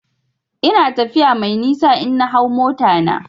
Ina tafiya mai nisa in na hau mota na.